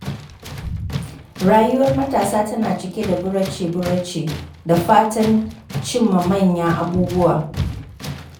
Rayuwar matasa tana cike da burace-burace da fatan cimma manyan abubuwa.